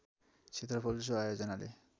क्षेत्रफल सो आयोजनाले